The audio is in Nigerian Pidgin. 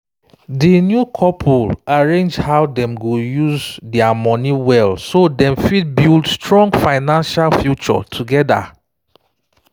di new couple arrange how dem go use their money well so dem fit build strong financial future together